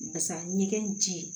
Barisa ɲɛgɛn ji